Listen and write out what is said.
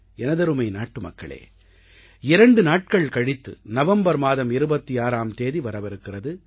எனதருமை நாட்டுமக்களே இரண்டு நாட்கள் கழித்து நவம்பர் மாதம் 26ஆம் தேதி வரவிருக்கிறது